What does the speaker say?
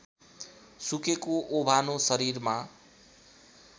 सुकेको ओभानो शरीरमा